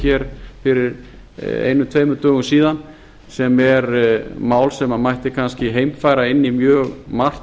seyðisfirði fyrir einum tveimur dögum síðan sem er mál sem mætti kannski heimfæra inn í mjög margt